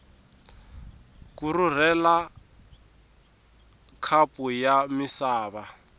ku rhurhela khapu ya misava